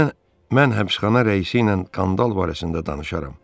Mən həbsxana rəisi ilə qandal barəsində danışaram.